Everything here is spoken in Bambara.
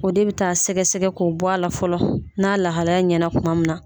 O de bɛ taa sɛgɛsɛgɛ k'o bɔ a la fɔlɔ n'a lahalaya ɲɛna tuma min na